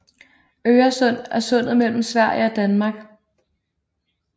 Øresund er sundet mellem Sverige og Danmark